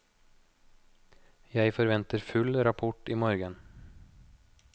Jeg forventer full rapport i morgen.